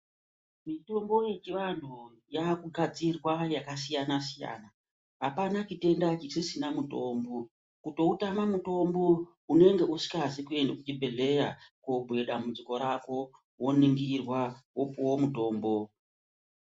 Mitombo yechivantu yakugadzirwa yakasiyana siyana. Apana chitenda chisisina mutombo. Kutoutama mutombo unenge isikazi kuenda kuchibhedhleya koobhuya dambudziko rako. Woningirwa wopuwa mutombo.